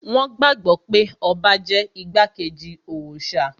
Wón gbàgbọ́ pé ọba jẹ́ igbákejì òòṣà